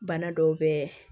Bana dɔw bɛ